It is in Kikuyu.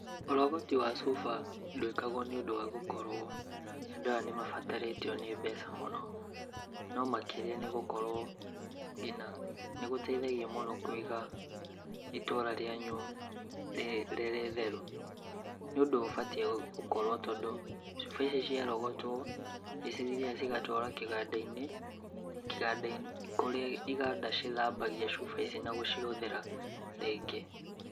Ũrogoti wa cuba, ndwĩkwagwo nĩũndũ wa gũkorwo andũ aya nĩ mabatarĩtio nĩ mbeca mũno, no makĩria nĩ gũkorwo, ngina nĩgũteithagia kũiga itũra rianyu rĩ rĩtheru. Nĩ ũndũ ũbatie gũkorwo tondũ, cũba ici ciarogotwo, nĩ cithiaga cigatwarwo kĩganda-inĩ kĩganda-inĩ kũrĩa iganda ithambagia cuba ici na gũcihũthĩra ringĩ.